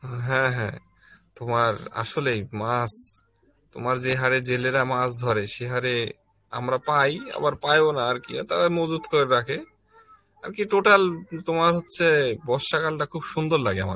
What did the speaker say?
হ্যাঁ হ্যাঁ তোমার আসলেই মাছ তোমার যে হারে জেলে রা মাছ ধরে সে হারে আমরা পাই আবার পাই ও না আরকি তারা মজুত করে রাখে, আর কি total তোমার হচ্ছে বর্ষা কাল টা খুব সুন্দর লাগে আমার কাছে